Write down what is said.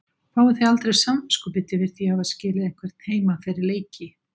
Fáið þið aldrei samviskubit yfir því að hafa skilið einhvern heima fyrir leiki?